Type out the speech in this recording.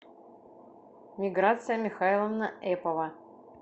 миграция михайловна эпова